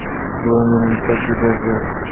Bu, menimcha, juda zo‘r!